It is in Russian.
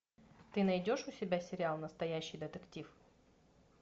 ты найдешь у себя сериал настоящий детектив